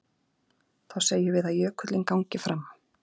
Þá segjum við að jökullinn gangi fram.